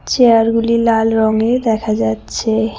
Chair -গুলি লাল রঙে দেখা যাচ্ছে।